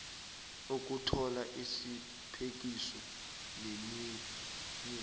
ukuthola isiphekiso neminye